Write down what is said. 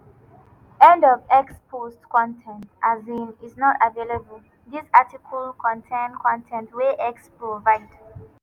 end of x post 1 con ten t um is not available dis article contain con ten t wey x provide.